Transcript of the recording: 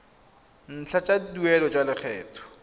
ntlha tsa tuelo ya lekgetho